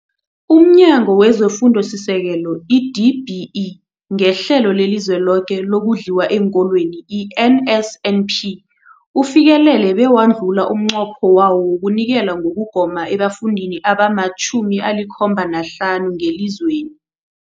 UmNyango wezeFundo esiSekelo, i-DBE, ngeHlelo leliZweloke lokoNdliwa eenKolweni, i-NSNP, ufikelele bewadlula umnqopho wawo wokunikela ngokugoma ebafundini abama-75 ngelizweni.